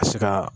Ka se ka